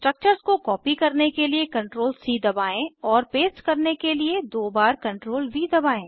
structures को copy करने के लिए CTRLC दबाएं और पेस्ट करने के लिए दो बार CTRLV दबाएं